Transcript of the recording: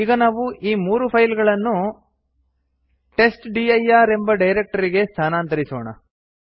ಈಗ ನಾವು ಈ ಮೂರು ಫೈಲ್ ಗಳನ್ನು ಟೆಸ್ಟ್ಡಿರ್ ಎಂಬ ಡೈರಕ್ಟರಿಗೆ ಸ್ಥಾನಾಂತರಿಸೋಣ